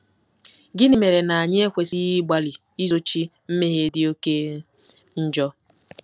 Gịnị mere na anyị ekwesịghị ịgbalị izochi mmehie dị oké njọ?